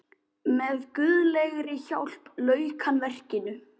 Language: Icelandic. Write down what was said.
Með guðlegri hjálp lauk hann verkinu.